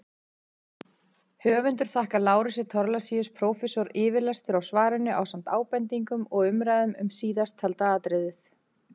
Höfundur þakkar Lárusi Thorlacius prófessor yfirlestur á svarinu ásamt ábendingum og umræðum um síðasttalda atriðið.